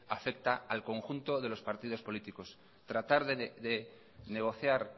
afecta al conjunto de los partidos políticos tratar de negociar